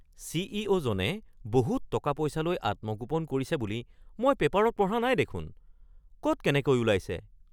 চি.ই.অ’.-জনে বহুত টকা-পইচালৈ আত্মগোপন কৰিছে বুলি মই পেপাৰত পঢ়া নাই দেখোন। ক’ত তেনেকৈ উলাইছে? (বন্ধু ১)